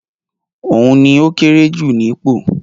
Òun ni ókéré jù nípò.